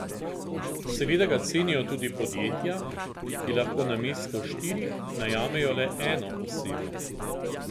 Seveda ga cenijo tudi podjetja, ki lahko namesto štirih najamejo le eno osebo.